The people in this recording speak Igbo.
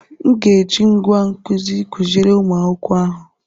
M ga-eji ngwá nkụzi kụziere ụmụ akwụkwọ ahụ.